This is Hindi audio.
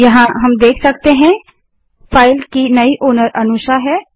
यहाँ आप देख सकते हैं कि फाइल की नई मालिकओनर अनुषा है